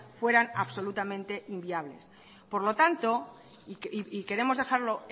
fueran absolutamente inviables por lo tanto y queremos dejarlo